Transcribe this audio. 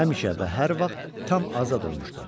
Həmişə və hər vaxt tam azad olmuşdu.